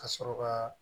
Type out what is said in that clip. Ka sɔrɔ ka